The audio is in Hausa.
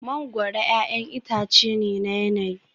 Mangoro 'ya'yan itace ne na yanayi